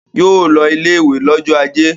Yóò lọ ilé-ìwé lọ́jọ́ ajé!